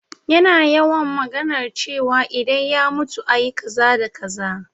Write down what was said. Yana yawan maganar cewa idan ya mutu ayi kaza da kaza